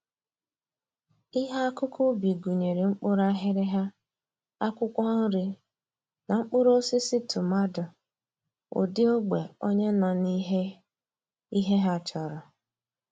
Ihe akụkụ ubi gụnyere mkpụrụ aghịrịgha, akwụkwọ nri, na mkpụrụosisi tụmadụ ụdị ogbe onye nọ na ihe ihe ha chọrọ